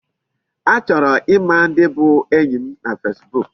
Achọrọ ịma ndị bụ enyi m na Facebook.